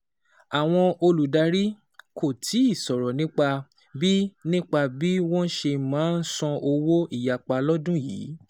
Àwọn olùdarí kò tíì sọ̀rọ̀ nípa bí nípa bí wọ́n ṣe máa san owó ìyapa lọ́dún yìí.